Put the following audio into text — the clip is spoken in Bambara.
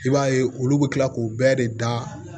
I b'a ye olu bɛ kila k'u bɛɛ de da